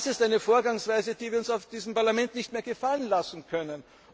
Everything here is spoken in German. Das ist eine Vorgangsweise, die wir uns in diesem Parlament nicht mehr gefallen lassen können.